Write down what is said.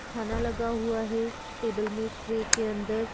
खाना लगा हुआ है टेबल में ट्र के अंदर--